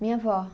Minha vó.